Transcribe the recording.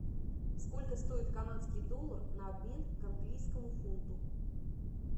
сколько стоит канадский доллар на обмен к английскому фунту